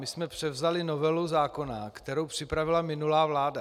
My jsme převzali novelu zákona, kterou připravila minulá vláda.